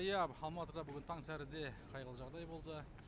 иә алматыда бүгін таңсәріде қайғылы жағдай болды